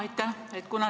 Aitäh!